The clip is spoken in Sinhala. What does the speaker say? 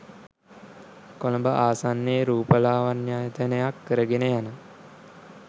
කොළඹ ආසන්නයේ රූපලාවණ්‍යායතනයක් කරගෙන යන